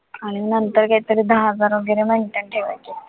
आणि नंतर काही तरी दहा हजार वैगरे maintain ठेवायचे.